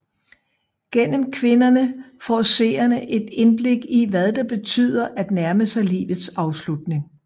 Gennem kvinderne får seerne et indblik i hvad det betyder at nærme sig livets afslutning